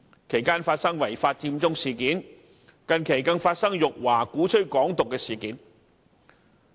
其間發生違法"佔中"事件，近期更發生辱華、鼓吹"港獨"的事件。